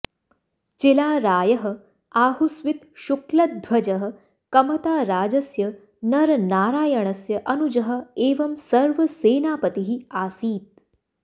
चिलारायः आहोस्वित् शुक्लध्वजः कमताराजस्य नरनारायणस्य अनुजः एवम् सर्वसेनापतिः आसीत्